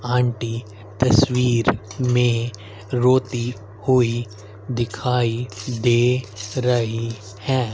Aunty तस्वीर में रोती हुई दिखाई दे रही हैं।